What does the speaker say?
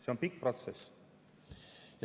See on pikk protsess.